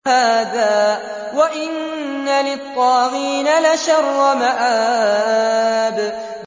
هَٰذَا ۚ وَإِنَّ لِلطَّاغِينَ لَشَرَّ مَآبٍ